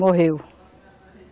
Morreu.